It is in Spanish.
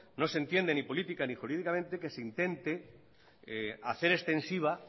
no se entiende ni política ni jurídicamente que se intente hacer extensiva